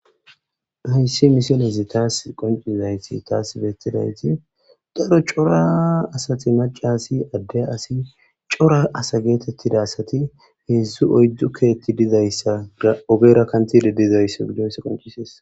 Hayssi misilezi tas qonccisizayssi tas bettizayssi daro cora macca asi adde asi cora ase gettetida asati hedzdzu oyddu keththi dizayssa ogera kanthi dizayssi qonccisses.